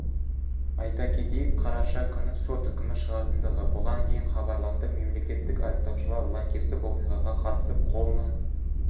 айта кетейік қараша күні сот үкімі шығатындығы бұған дейін хабарланды мемлекеттік айыптаушылар лаңкестік оқиғаға қатысып қолына